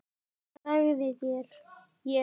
Svo þagði ég.